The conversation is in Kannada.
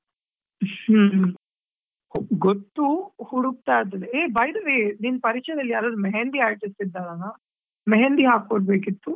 ಹ್ಮ್‌ ಗೊತ್ತು ಹುಡುಕ್ತಾ ಇದ್ದೇವೆ. Hey by the way ನಿನ್ ಪರಿಚಯದಲ್ಲಿ ಯಾರಾದ್ರೂ mehendi artist ಇದ್ದಾರ mehendi ಹಾಕೊಡ್ಬೇಕಿತ್ತು.